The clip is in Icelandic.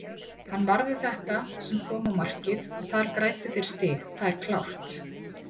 Hann varði þetta sem kom á markið og þar græddu þeir stig, það er klárt.